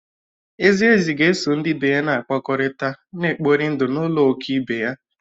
Ezi ezi ga-eso ndị ibe ya na-akpakọrịta, na-ekpori ndụ n’ụlọ òké ibe ya